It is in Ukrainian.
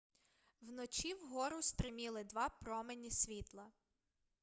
вночі вгору стриміли два промені світла